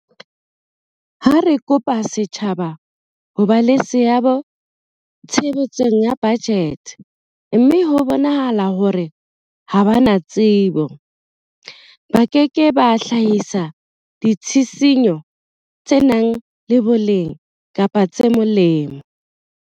Ha re kopa setjhaba ho ba le seabo tshebetsong ya bajete mme ho bonahala hore ha ba na tsebo, ba ke ke ba hlahisa ditshisinyo tse nang le boleng kapa tse molemo.